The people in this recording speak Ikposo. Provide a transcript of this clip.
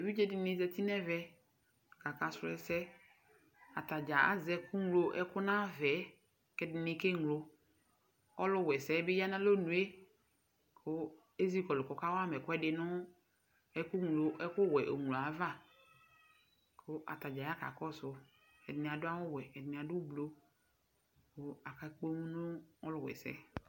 Evidze dɩnɩ zati n'vɛ k'akasʋ ɛsɛ Atadzaa azɛ ɛkʋ ŋlo ɛkʋ dʋ n'ayava yɛ, k'ɛdɩnɩ keŋlo Alʋwa ɛsɛ bɩ ya n'alɔnʋ yɛ kʋ ezi kɔlʋ k'ɔka wama ɛkʋɛdɩ nʋ ɛkʋ ŋlo, ɛkʋ wɛ oŋlo yɛ ava, kʋ atadzaa ya k'akɔsʋ, ɛdnɩ adʋ awʋ wɛ, ɛdɩnɩ adʋ ʋblʋ kʋ aka kpom nʋ ɔlʋwa ɛsɛ